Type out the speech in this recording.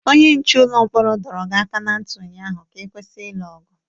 Onye nche ụlọ mkpọrọ dọrọ gị aka ná ntị ụnyaahụ ka ị kwụsị ilu ọgụ!